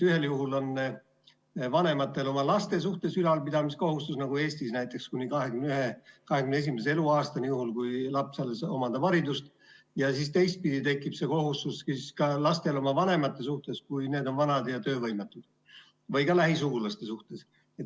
Ühel juhul on vanematel oma laste suhtes ülalpidamiskohustus, näiteks Eestis kuni 21. eluaastani, juhul kui laps alles omandab haridust, ja teistpidi tekib siis ka lastel kohustus oma vanemate suhtes, kui need on vanad ja töövõimetud, või ka muude lähisugulaste suhtes.